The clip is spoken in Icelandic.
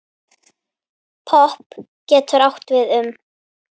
Popp getur átt við um